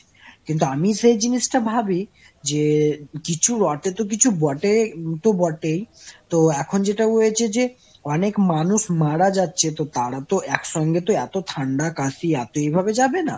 কিন্তু আমি সেই জিনিসটা ভাবি যে, কিছু রটে তো কিছু বটে তো বটেই। তো এখন যেটা হয়েছে যে অনেক মানুষ মারা যাচ্ছে তো তারা তো একসঙ্গে তো এত ঠান্ডা কাশি এত এভাবে যাবে না,